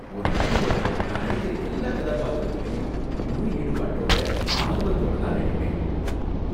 ஒரு நடிகரா நான் நடிக்கற எல்லா கதாபாத்திரத்துலையும் முழு ஈடுபாடோட ஆர்வத்தோட தான் நடிப்பேன்.